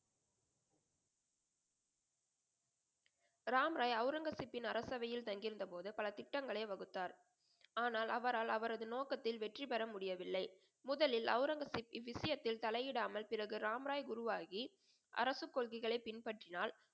ராம் ராய் அவுரங்கசீப்பின் அரசவையில் தங்கி இருந்த போது பல திட்டங்களை வகுத்தார். ஆனால் அவரால் அவரது நோக்கத்தில் வெற்றி பெற முடியவில்லை. முதலில் அவுரங்கசீப்பின்விசயத்தில் தலை இடாமல் பிறகு ராம் ராயை குருவாகி அரசு கொள்கைகளை பின்பற்றினால்